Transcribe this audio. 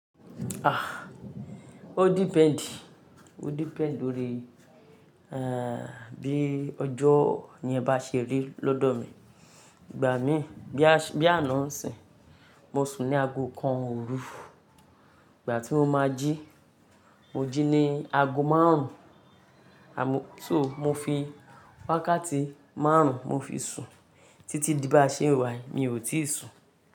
Ah! O depend, o depend lórí, eh, bí ọjọ́ yen bá ṣe rí lọ́dọ̀ mi. Ìgbà mí bí àná ń sìn, mo sùn ní aago kan òru, ìgbà tí mo máa jí, mo jí ní aago márùn-ún. Àmọ́ tó mo fi wákàtí márùn-ún, mo fi sùn títí díbà ṣe wàý, mi ò tíì sùn.